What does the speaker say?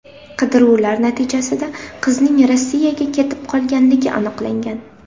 Qidiruvlar natijasida qizning Rossiyaga ketib qolganligi aniqlangan.